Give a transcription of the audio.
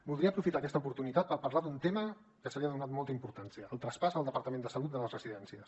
voldria aprofitar aquesta oportunitat per parlar d’un tema que se li ha donat molta importància el traspàs al departament de salut de les residències